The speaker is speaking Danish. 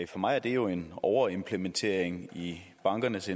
for mig er det jo en overimplementering i bankernes